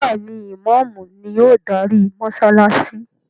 Béèni Imàámu ni o darí mósálásí.